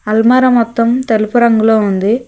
అల్మారా మొత్తం తెలుపు రంగులో ఉంది.